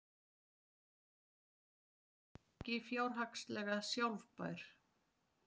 Fjölgun fanga er ekki fjárhagslega sjálfbær